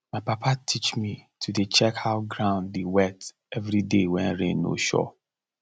my papa teach me to dey check how ground dey wet every day when rain no sure